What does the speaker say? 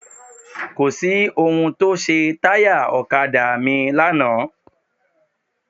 Kò sí ohun tó ṣe táyà ọ̀kadà mi lánàá.